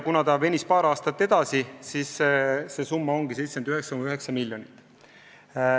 Kuna see töö venis paar aastat edasi, siis see summa ongi 79,9 miljonit.